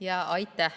Aitäh!